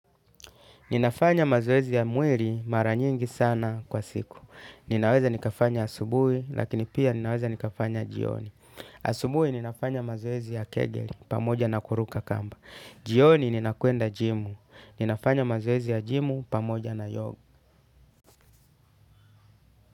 Ninafanya mazoezi ya mwili mara nyingi sana kwa siku. Ninaweza nikafanya asubuhi lakini pia ninaweza nikafanya jioni. Asubuhi ninafanya mazoezi ya kegel pamoja na kuruka kamba. Jioni ninakuenda jimu. Ninafanya mazoezi ya jimu pamoja na yoga.